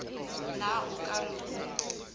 na o ka re ho